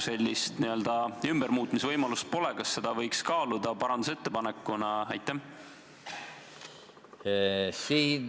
Ja kui praegu sellist ümbermuutmise võimalust pole, siis kas seda võiks kaaluda parandusettepanekuna?